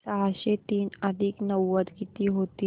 सहाशे तीन अधिक नव्वद किती होतील